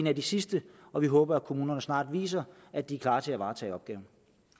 af de sidste og vi håber at kommunerne snart viser at de er klar til at varetage opgaven